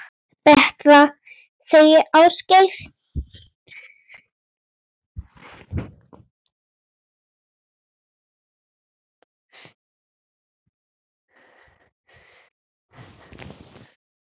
Betra, segir Ásgeir.